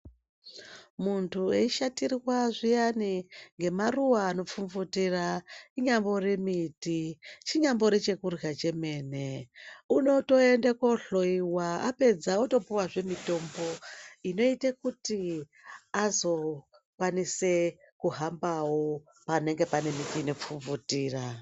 Muntu eishatirwa zviyani ngemaruwa anopfupfutira chinyambori miti, chinyambori chekurya chemene unotoenda kohloyiwa apedza otopuwazve mitombo kuti azokwanisa kuhamba panenge pane miti inopfupfutira.